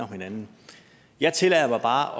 hinanden jeg tillader mig bare